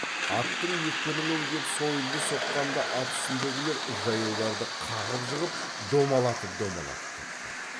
аттың екпінімен кеп сойылды соққанда ат үстіндегілер жаяуларды қағып жығып домалатып домалатып кетті